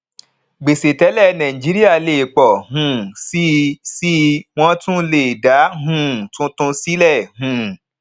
gbèsè tẹlẹ nàìjíríà lè pọ um síi síi wọn tún le dá um tuntun sílẹ um